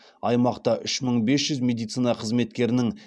аймақта үш мың бес жүз медицина қызметкерінің